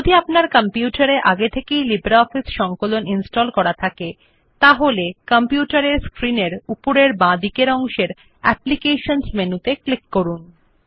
যদি আপনার কম্পিউটার এ আগে থেকেই লিব্রিঅফিস সংকলন ইনস্টল করা থাকে তাহলে কম্পিউটার এর স্ক্রিন এর উপরের বাঁদিকের অংশে অ্যাপ্লিকেশনস বিকল্পটি ক্লিক করুন